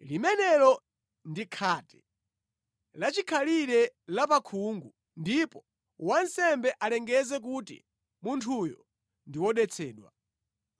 limenelo ndi khate lachikhalire la pa khungu, ndipo wansembe alengeze kuti munthuyo ndi wodetsedwa.